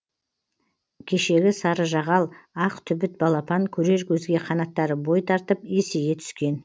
кешегі сарыжағал ақ түбіт балапан көрер көзге қанаттары бой тартып есейе түскен